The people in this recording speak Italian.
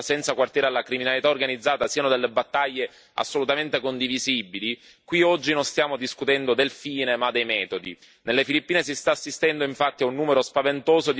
Sebbene la dura repressione al traffico di droga e la lotta senza quartiere alla criminalità organizzata siano delle battaglie assolutamente condivisibili, qui oggi non stiamo discutendo del fine ma dei metodi.